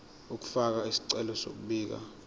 ukufaka isicelo sokubika